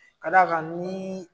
Ka d'a kan nii